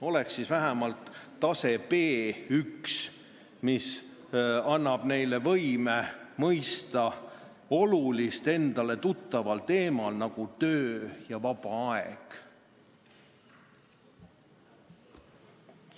Oleks siis vähemalt tase B1, mis annab võime mõista olulist juttu endale tuttaval teemal, nagu töö ja vaba aeg.